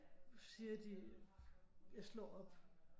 Nu siger de jeg slår op